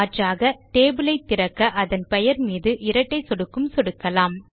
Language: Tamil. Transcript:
மாற்றாக டேபிள் ஐ திறக்க அதன் பெயர் மீது இரட்டை சொடுக்கும் சொடுக்கலாம்